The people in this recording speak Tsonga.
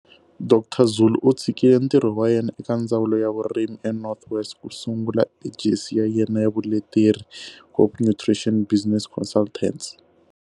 Dr Zulu u tshikile ntirho wa yena eka Ndzawulo ya Vurimi eNorth West ku sungula ejesi ya yena ya vuleteri, Hope Nutrition Business Consultants.